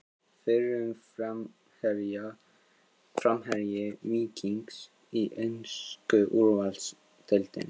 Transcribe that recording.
Fyrrum framherji Víkings í ensku úrvalsdeildina?